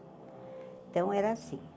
Então era assim.